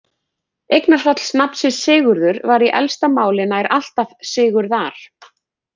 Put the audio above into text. Eignarfall nafnsins Sigurður var í elsta máli nær alltaf Sigurðar.